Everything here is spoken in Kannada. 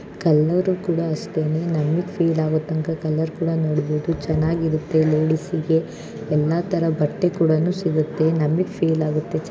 ಕಲರ್‌ ಕೂಡ ಅಷ್ಟೇನೇ ನಮಿಗೆ ಫೀಲ್‌ ಆಗೋ ತರ ಕಲರ್‌ ಕೂಡ ನೋಡಬಹುದು ಚೆನ್ನಾಗಿ ಇರುತ್ತೆ ಲೇಡಿಸ್‌ಗೆ ಎಲ್ಲಾ ತರಹದ ಬಟ್ಟೆ ಕೂಡ ಸಿಗುತ್ತೆ ನಮಿಗೆ ಫೀಲ್‌ ಆಗುತ್ತೆ.